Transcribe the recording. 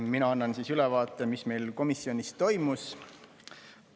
Mina annan ülevaate, mis meil komisjonis toimus.